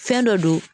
Fɛn dɔ don